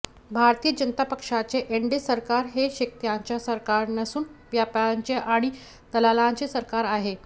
भारतीय जनता पक्षाचे एनडीए सरकार हे शेतकऱ्यांचे सरकार नसून व्यापाऱ्यांचे आणि दलालांचे सरकार आहे